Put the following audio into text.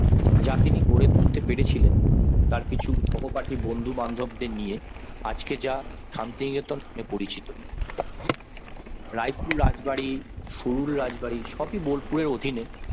যা তিনি গড়ে তুলতে পেরেছিলেন তার কিছু সহপাঠী বন্ধু-বান্ধবদের নিয়ে আজকে যা শান্তিনিকেতন নামে পরিচিত। রায়পুর রাজবাড়ি বা কুরুল রাজবাড়ী সবই বোলপুরের অধীনে